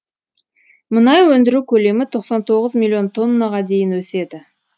мұнай өндіру көлемі тоқсан тоғыз миллион тоннаға дейін өседі